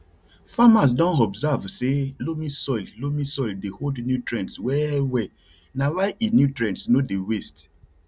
farmers don observe say loamy soil loamy soil dey hold nutrients well well na why e nutrients no dey waste